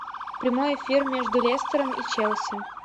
прямой эфир между лестером и челси